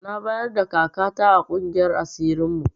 Na bayarda kaka ta a ƙungiyar asirin mu